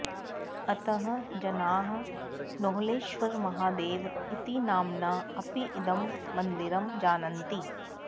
अतः जनाः नोहलेश्वरमहादेव इति नाम्ना अपि इदं मन्दिरं जानन्ति